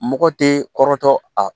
Mɔgɔ tɛ kɔrɔtɔ a